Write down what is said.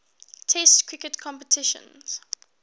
test cricket competitions